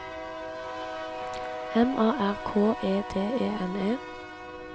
M A R K E D E N E